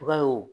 Ba ye o